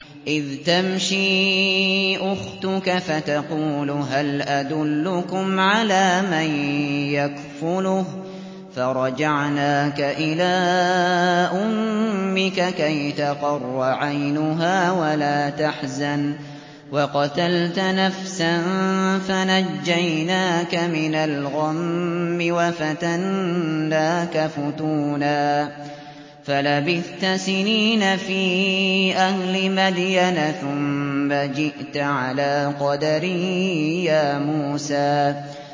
إِذْ تَمْشِي أُخْتُكَ فَتَقُولُ هَلْ أَدُلُّكُمْ عَلَىٰ مَن يَكْفُلُهُ ۖ فَرَجَعْنَاكَ إِلَىٰ أُمِّكَ كَيْ تَقَرَّ عَيْنُهَا وَلَا تَحْزَنَ ۚ وَقَتَلْتَ نَفْسًا فَنَجَّيْنَاكَ مِنَ الْغَمِّ وَفَتَنَّاكَ فُتُونًا ۚ فَلَبِثْتَ سِنِينَ فِي أَهْلِ مَدْيَنَ ثُمَّ جِئْتَ عَلَىٰ قَدَرٍ يَا مُوسَىٰ